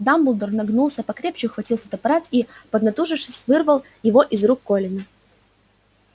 дамблдор нагнулся покрепче ухватил фотоаппарат и поднатужившись вырвал его из рук колина